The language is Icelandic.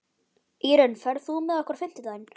Írunn, ferð þú með okkur á fimmtudaginn?